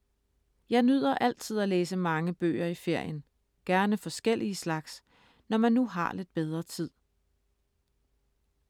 Jeg nyder altid at læse mange bøger i ferien. Gerne forskellige slags, når man nu har lidt bedre tid.